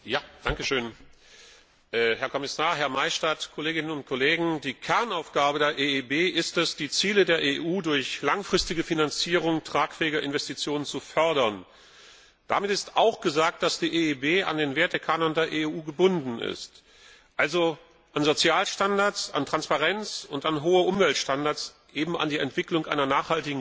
Herr Präsident, Herr Kommissar, Herr Maystadt, Kolleginnen und Kollegen! Die Kernaufgabe der EIB ist es, die Ziele der EU durch langfristige Finanzierung tragfähiger Investitionen zu fördern. Damit ist auch gesagt, dass die EIB an den Wertekanon der EU gebunden ist, also an Sozialstandards, an Transparenz und an hohe Umweltstandards eben an die Entwicklung einer nachhaltigen Wirtschaft